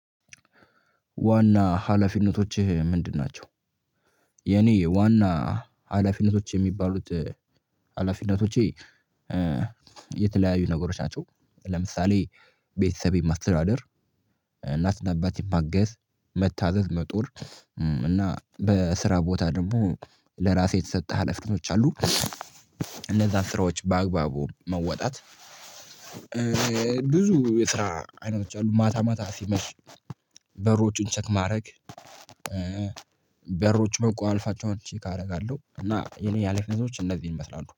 ዋና ሀላፊነቶችህ ምንድናቸው? የእኔ ዋና ሀላፊነቶች የሚባሉት ሀላፊነቶቼ የተለያዩ ነገሮች ናቸው ለምሳሌ ቤተሰብ ማስተዳደር እናት እና አባቴን ማገዝ መታዘዝ መጦር እና በስራ ቦታ ደግሞ ለራሴ የተሰጠ ሀላፊነቶች አሉ እነዛን ስራወች በአግባቡ መወጣት ብዙ የስራ አይነቶች አሉ ማታ ማታ ሲመሽ በሮችን ቸክ ማድረግ በሮች መቆለፋቸውን ቸክ አደርጋለሁ እና የእኔ ሀላፊነቶች እነዚህ መስራት ነው